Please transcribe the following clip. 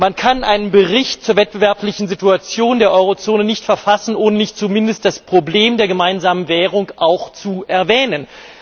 Man kann einen Bericht zur wettbewerblichen Situation der Eurozone nicht verfassen, ohne nicht zumindest das Problem der gemeinsamen Währung zu erwähnen.